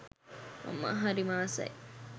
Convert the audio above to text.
මම හරිම ආසයි.